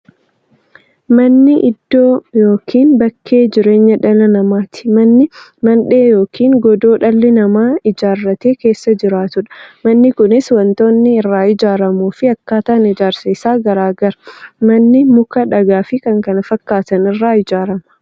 Manni iddoo yookiin bakka jireenya dhala namaati. Manni Mandhee yookiin godoo dhalli namaa ijaaratee keessa jiraatudha. Manni Kunis waantootni irraa ijaaramuufi akkaataan ijaarsa isaa garaagara. Manni muka, dhagaafi kan kana fakkaatan irraa ijaarama.